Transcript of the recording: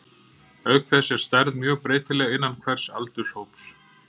Auk þess er stærð mjög breytileg innan hvers aldurshóps.